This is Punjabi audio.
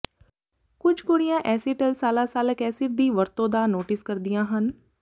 ਕੁਝ ਕੁੜੀਆਂ ਐਸੀਟਲਸਾਲਾਸਾਲਕ ਐਸਿਡ ਦੀ ਵਰਤੋਂ ਦਾ ਨੋਟਿਸ ਕਰਦੀਆਂ ਹਨ